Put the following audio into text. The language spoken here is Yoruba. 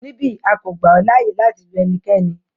Nibi, a ko gba ọ laaye lati lu ẹnikẹni